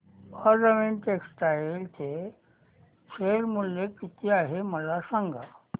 Arvind textile चे share मूल्य किती आहे मला सांगा